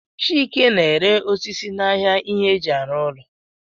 Chike na-ere osisi n'ahịa ihe eji arụ ụlọ